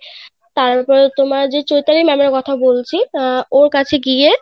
তারপরে তোমার যে চৈতালি madam এর কথা বলছি অ্যাঁ ওর কাছে গিয়ে